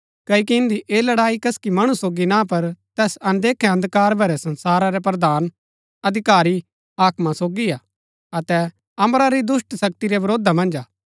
क्ओकि इन्दी ऐह लड़ाई कसकी मणु सोगी ना पर तैस अनदेखै अन्धकार भरै संसार रै प्रधाना अधिकारी हाकमा सोगी हा अतै अम्बरा री दुष्‍ट शक्ति रै विरोधा मन्ज हा